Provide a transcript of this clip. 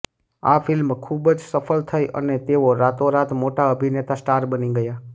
આ ફિલ્મ ખૂબ જ સફળ થઈ અને તેઓ રાતોરાત મોટા અભિનેતા સ્ટાર બની ગયા